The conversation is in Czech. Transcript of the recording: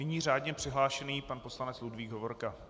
Nyní řádně přihlášený pan poslanec Ludvík Hovorka.